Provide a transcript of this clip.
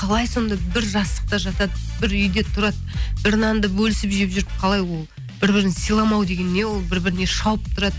қалай сонда бір жастықта жатады бір үйде тұрады бір нанды бөлісіп жеп жүріп қалай ол бір бірін сыйламау деген не ол бір біріне шауып тұрады